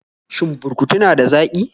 Shin burkutu na da zaƙi?